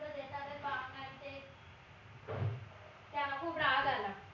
त्यांना खूप राग आला